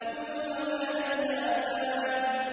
كُلُّ مَنْ عَلَيْهَا فَانٍ